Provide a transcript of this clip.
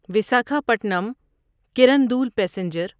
Visakhapatnam Kirandul passenger